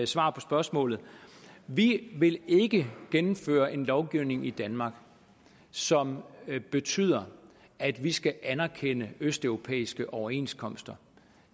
svaret på spørgsmålet vi vil ikke gennemføre en lovgivning i danmark som betyder at vi skal anerkende østeuropæiske overenskomster